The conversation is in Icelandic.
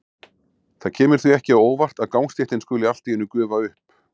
Það kemur því ekki á óvart að gangstéttin skuli allt í einu gufa upp.